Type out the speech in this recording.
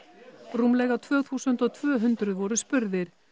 rúmlega tvö þúsund og tvö hundruð voru spurðir